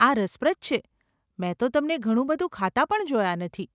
આ રસપ્રદ છે, મેં તો તમને ઘણું બધું ખાતા પણ જોયા નથી.